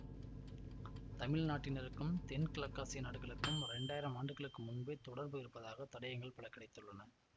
தமிழ் நாட்டினருக்கும் தென்கிழக்காசிய நாடுகளுக்கும் இரண்டாயிரம் ஆண்டுகளுக்கு முன்பே தொடர்பு இருப்பதற்கான தடயங்கள் பல கிடைத்துள்ளன